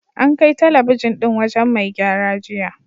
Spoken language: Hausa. An kai talabijin ɗin wajen mai gyara jiya.